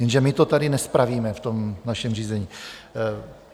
Jenže my to tady nespravíme v tom našem řízení.